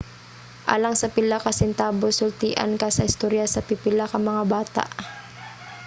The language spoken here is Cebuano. alang sa pila ka sentabos sultian ka sa istorya sa pipila ka mga bata